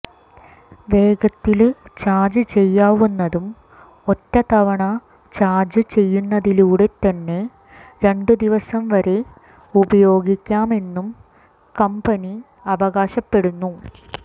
വേഗത്തില് ചാര്ജ് ചെയ്യാവുന്നതും ഒറ്റത്തവണ ചാര്ജു ചെയ്യുന്നതിലൂടെ തന്നെ രണ്ടു ദിവസം വരെ ഉപയോഗിക്കാം എന്നു കമ്ബനി അവകാശപ്പെടുന്നു